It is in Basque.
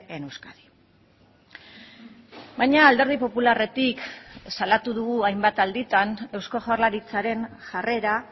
en euskadi baina alderdi popularretik salatu dugu hainbat alditan eusko jaurlaritzaren jarrera